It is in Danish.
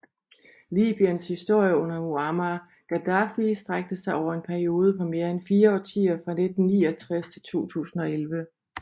Libyens historie under Muammar Gaddafi strakte sig over en periode på mere end fire årtier fra 1969 til 2011